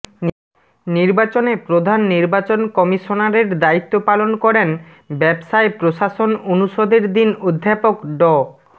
নির্বাচনে প্রধান নির্বাচন কমিশনারের দায়িত্ব পালন করেন ব্যবসায় প্রশাসন অনুষদের ডিন অধ্যাপক ড